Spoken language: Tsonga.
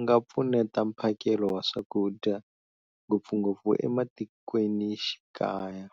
ngapfuneta mphakelo wa swakudya, ngopfungopfu e matikwenixikaya.